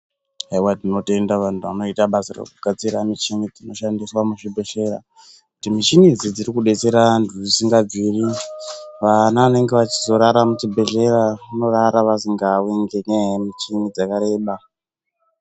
Haiwa tinotenda vantu vanoita basa rekugadzira michini dzinoshandiswa muzvibhedhleya. Kuti mishini idzi dziri kudetsera vantu zvisingabviri. Vana vanenge vachizorara muchibhedhlera, vanorara vasingawi ngenyaya yemichini dzakareba.